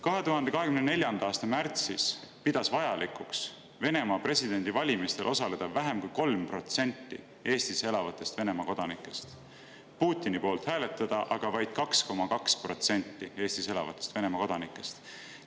2024. aasta märtsis pidas Venemaa presidendivalimistel vajalikuks osaleda vähem kui 3% Eestis elavatest Venemaa kodanikest, Putini poolt hääletas aga vaid 2,2% Eestis elavatest Venemaa kodanikest.